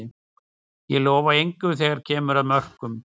Ég lofa engu þegar að kemur að mörkum.